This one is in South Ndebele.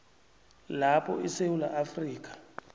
lapho isewula afrika